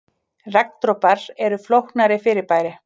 Regndropar eru flóknara fyrirbæri.